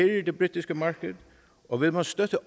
det britiske marked og vil man støtte